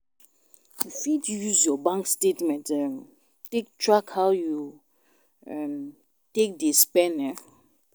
You fit use your bank statement um take track how you um take dey spend um